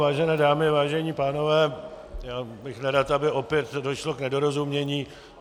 Vážené dámy, vážení pánové, já bych nerad, aby opět nedošlo k nedorozumění.